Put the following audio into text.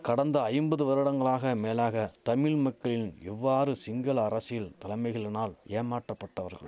கடந்த ஐம்பது வருடங்களாக மேலாக தமிழ் மக்களின் எவ்வாறு சிங்கள அரசில் தலைமைகளினால் ஏமாற்றபட்டவர்